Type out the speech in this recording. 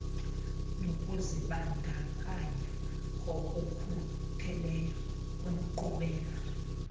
nokuzibandakanya ngokukhutheleyo kwinkqubela